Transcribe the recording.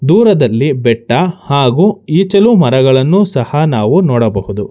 ದೂರದಲ್ಲಿ ಬೆಟ್ಟ ಹಾಗು ಇಚಲು ಮರಗಳನ್ನು ಸಹ ನಾವು ನೋಡಬಹುದು.